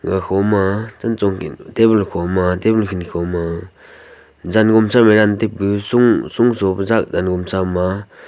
ga kho ma chachon table kho ma table ku ne kho ma jan momsa jante bu sonso jan monsa ma--